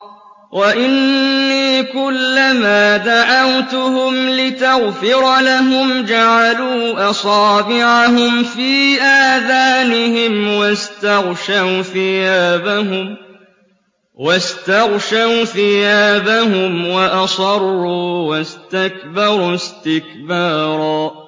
وَإِنِّي كُلَّمَا دَعَوْتُهُمْ لِتَغْفِرَ لَهُمْ جَعَلُوا أَصَابِعَهُمْ فِي آذَانِهِمْ وَاسْتَغْشَوْا ثِيَابَهُمْ وَأَصَرُّوا وَاسْتَكْبَرُوا اسْتِكْبَارًا